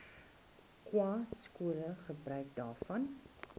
khanyaskole gebruik hiervan